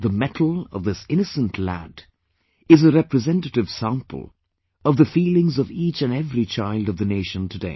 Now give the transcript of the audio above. The mettle of this innocent lad is a representative sample of the feelings of each &every child of the Nation today